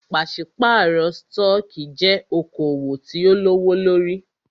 Pàṣípàrọ̀ stọọkí jẹ́ okoòwò tí o lówó lórí.